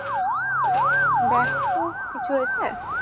ব্যাস্ত কিছু হয়েছে